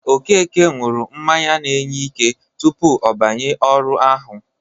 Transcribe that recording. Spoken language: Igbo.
Okeke ṅụrụ mmanya na-enye ike tupu ọ banye ọrụ ahụ.